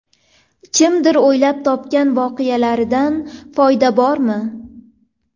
Kimdir o‘ylab topgan voqealaridan foyda bormi?.